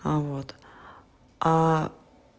а вот